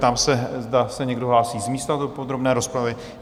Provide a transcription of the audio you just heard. Ptám se, zda se někdo hlásí z místa do podrobné rozpravy?